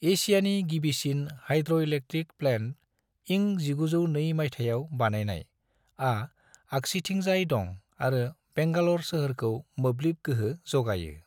एसियानि गिबिसिन hydroelectric plant (इं 1902 माइथायाव बानायनाय) आ आगसिथिंजाय दं आरो बेंगालर सोहोरखौ मोब्लिब गोहो जोगायो।